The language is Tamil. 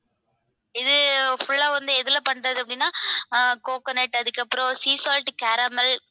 இது full ஆ வந்து எதுல பண்றது அப்படின்னா coconut அதுக்கப்புறம் sea salt caramel